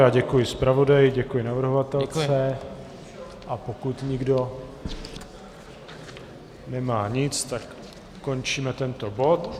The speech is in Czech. Já děkuji zpravodaji, děkuji navrhovatelce, a pokud nikdo nemá nic, tak končíme tento bod.